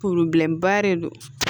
ba de don